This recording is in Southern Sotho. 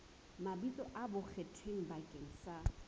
mabitso a bonkgetheng bakeng sa